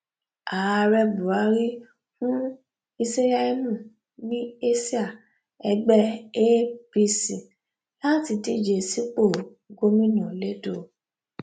ààrẹ buhari fún iṣẹìyamú ní àsíá ẹgbẹ apc láti díje sípò gómìnà lẹdọ